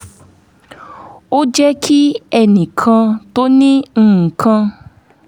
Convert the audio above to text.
ó jẹ́ kí ẹnì kan tó ní nǹkan